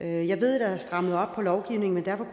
jeg ved at der er strammet op på lovgivningen og derfor